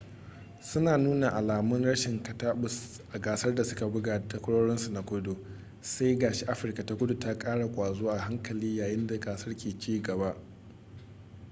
suna nuna alamun rashin kataɓus a gasar da suka buga da takwarorinsu na kudu sai ga shi afirka ta kudu ta ƙara ƙwazo a hankali yayin da gasar ke cigaba